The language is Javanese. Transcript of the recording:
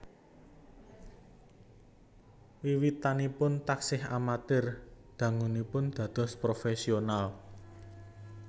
Wiwitanipun taksih amatir dangunipun dados profesional